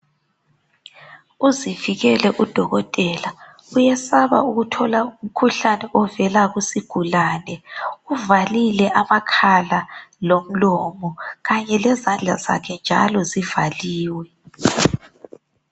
Uzivikele udokotela. Uyesaba ukuthola umkhuhlane ovela kuzigulane. Uvalile amakhala lomlomo, kanye lezandla zakhe njalo zivaliwe.